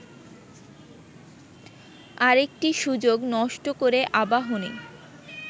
আরেকটি সুযোগ নষ্ট করে আবাহনী